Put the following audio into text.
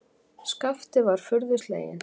Skapti var furðu sleginn.